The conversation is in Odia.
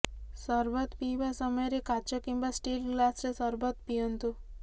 ସର୍ବତ ପିଇବା ସମୟରେ କାଚ କିମ୍ବା ଷ୍ଟିଲ୍ ଗ୍ଲାସରେ ସର୍ବତ ପିଅନ୍ତୁ